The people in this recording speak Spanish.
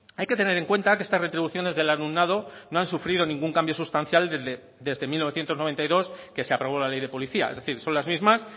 hay que tener en cuenta que estas retribuciones del alumnado no han sufrido ningún cambio sustancial desde mil novecientos noventa y dos que se aprobó la ley de policía es decir son las mismas